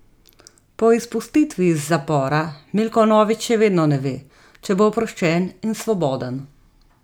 Po izpustitvi iz zapora Milko Novič še vedno ne ve, če bo oproščen in svoboden.